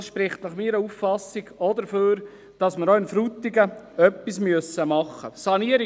Dies spricht meiner Auffassung nach ebenfalls dafür, dass wir in Frutigen etwas tun müssen.